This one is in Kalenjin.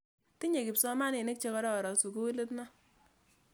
Tinye kipsomaninik che kororon sukulit ni.